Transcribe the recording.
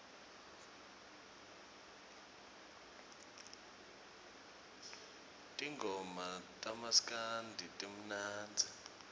tingoma tamaskandi timnandzi